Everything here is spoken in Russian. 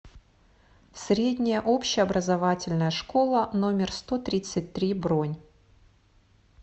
средняя общеобразовательная школа номер сто тридцать три бронь